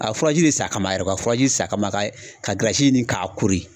A ye furaji de san kama yɛrɛ ka furaji san kama ka ɲini k'a kori